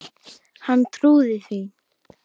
Hann trúði því.